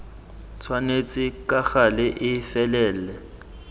tshwanetse ka gale e felele